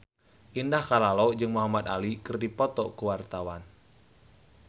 Indah Kalalo jeung Muhamad Ali keur dipoto ku wartawan